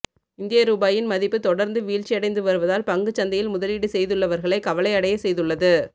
இந்திய ரூபாயின் மதிப்பு தொடர்ந்து வீழ்ச்சி அடைந்து வருவதால் பங்குச்சந்தையில் முதலீடு செய்துள்ளவர்களை கவலை அடைய செய்துள்ளது